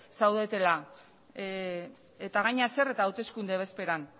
zaudetela eta gainera zer eta hauteskunde bezperan